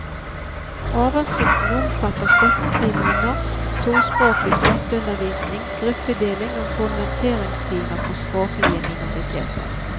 Oversikten omfatter støttetimer i norsk, tospråklig støtteundervisning, gruppedeling og konverteringstimer for språklige minoriteter.